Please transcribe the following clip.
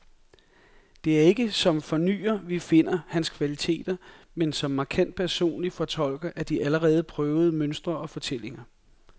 Det er ikke som fornyer, vi finder hans kvaliteter, men som markant personlig fortolker af de allerede prøvede mønstre og fortællinger.